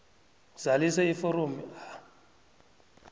zalisa iforomo a